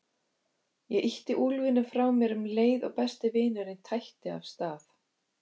Ég ýtti úlfinum frá mér um leið og besti vinurinn tætti af stað.